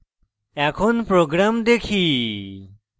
এখন program দেখি